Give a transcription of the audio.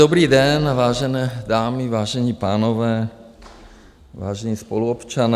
Dobrý den, vážené dámy, vážení pánové, vážení spoluobčané.